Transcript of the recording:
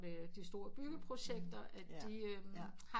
Ved de store byggeprojekter at de har